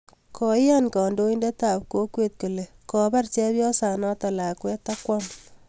koikan handoinet ap kokwet kole kopar chepyosanat lakwet ak kwam